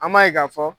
An b'a ye k'a fɔ